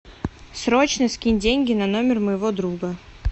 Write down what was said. срочно скинь деньги на номер моего друга